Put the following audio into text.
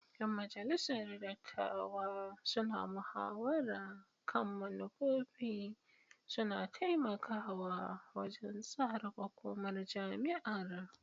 Yan majalisar dattawa suna muhawara kan manufofi, suna taimakawa wajen tsara makomar jami'ar.